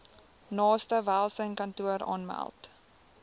naaste welsynskantoor aanmeld